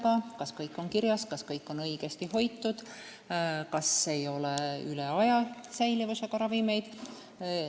Tuleb vaadata, kas kõik on kirjas, kas kõik on õigesti hoitud, kas ei ole säilivusaega ületanud ravimeid jne.